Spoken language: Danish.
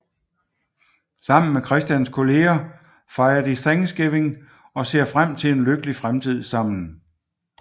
Sammen med Christians kollegaer fejrer de Thanksgiving og ser frem til en lykkelig fremtid sammen